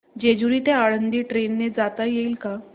जेजूरी ते आळंदी ट्रेन ने जाता येईल का